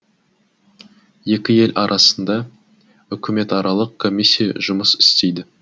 екі ел арасында үкіметаралық комиссия жұмыс істейді